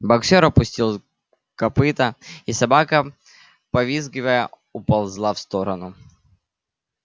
боксёр опустил копыто и собака повизгивая уползла в сторону